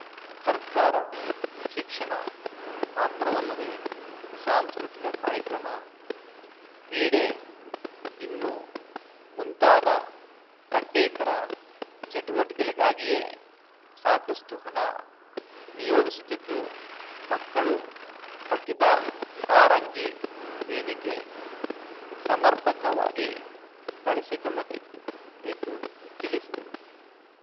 ಸರ್ಕಾರ ಶಿಕ್ಷಣ ಮಾತ್ರವಲ್ಲದೆ ಸಾಂಸ್ಕೃತಿಕ ಕಾರ್ಯಕ್ರಮ ಕ್ರೀಡೆ ಇನ್ನು ಮುಂತಾದ ಪಠ್ಯೇತರ ಚಟುವಟಿಕೆಗಳಿಗಾಗಿಯೇ ಸಾಕಷ್ಟುಹಣ ನಿಯೋಗಿಸುತ್ತಿದ್ದು ಮಕ್ಕಳು ಪ್ರತಿಭಾ ಕಾರಂಜಿ ವೇದಿಕೆ ಸಮರ್ಪಕವಾಗಿ ಬಳಸಿಕೊಳ್ಳಬೇಕು ಎಂದು ತಿಳಿಸಿದರು